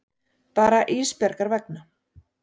Bara Ísbjargar vegna.